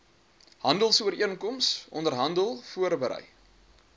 handelsooreenkoms onderhandel verbrei